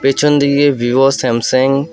পেছনদিকে Vivo Samsung --